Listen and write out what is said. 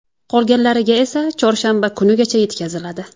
Qolganlariga esa chorshanba kunigacha yetkaziladi.